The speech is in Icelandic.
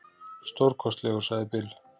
Stórkostlegur, sagði Bill.